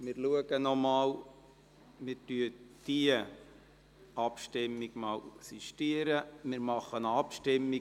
Wir sistieren die fehlerhafte Abstimmung und bitten die glp, erneut zu versuchen, die Anlage zu betätigen.